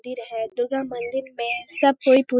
मंदिर है दुर्गा मंदिर मे सब कोई पू--